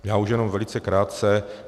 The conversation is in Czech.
Já už jenom velice krátce.